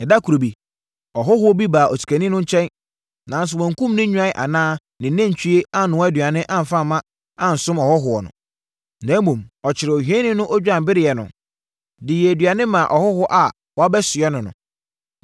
“Ɛda koro bi, ɔhɔhoɔ bi baa osikani no nkyɛn, nanso wankum ne nnwan anaa ne nantwie annoa aduane amfa ansom no hɔhoɔ. Na mmom, ɔkɔkyeree ohiani no odwanbereɛ no, de yɛɛ aduane maa ɔhɔhoɔ a wabɛsoɛ no no.”